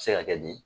Se ka kɛ di